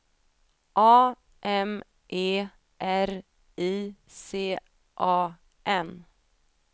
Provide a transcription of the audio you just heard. A M E R I C A N